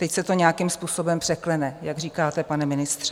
Teď se to nějakým způsobem překlene, jak říkáte, pane ministře.